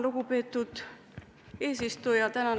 Lugupeetud eesistuja!